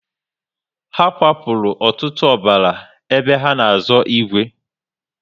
Ha kwa furu ọtụtụ ọbara ébé ha na azo igwe